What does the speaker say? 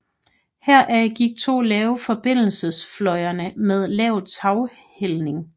Herfra gik to lave forbindelsesfløjene med lav taghældning